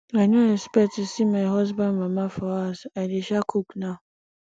i no expect to see my husband mama for house i dey um cook now